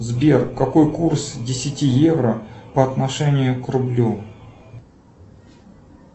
сбер какой курс десяти евро по отношению к рублю